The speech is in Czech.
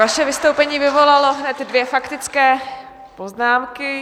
Vaše vystoupení vyvolalo hned dvě faktické poznámky.